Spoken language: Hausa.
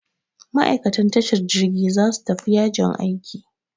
Ma'aikatan tashar jirgi za su tafi yajin aiki.